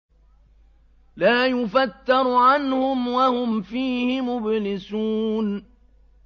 لَا يُفَتَّرُ عَنْهُمْ وَهُمْ فِيهِ مُبْلِسُونَ